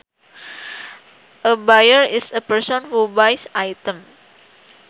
A buyer is a person who buys items